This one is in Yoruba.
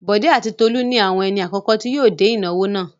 Bọ̀dé àti Tolú ni àwọn ẹni àkọ́kọ́ tí yóò dé ìnáwó náà.